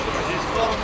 Burada tərəf.